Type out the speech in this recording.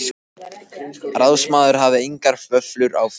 Ráðsmaður hafði engar vöflur á, fékk